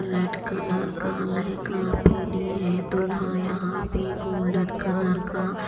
red colour का लहंगा पहनी है दुल्हा यहां पे गोल्डन कलर का --